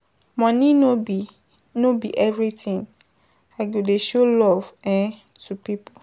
Money no be everytin, I go dey show love to pipo.